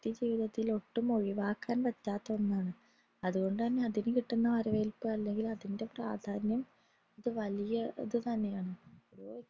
ഓരോ വ്യക്തി ജീവിതത്തിലെ ഒട്ടും ഒഴിവാക്കാൻ പറ്റാത്ത ഒന്നാണ് അതുകൊണ്ട് തന്നെ അതിന് അതിൻറെ പ്രാധന്യം വലിയ ഒരു ഇത് തന്നെയാണ്